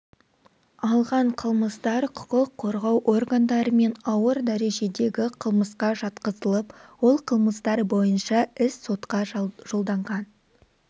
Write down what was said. алған қылмыстар құқық қорғау органдарымен ауыр дәрежедегі қылмысқа жатқызылып ол қылмыстар бойынша іс сотқа жолданған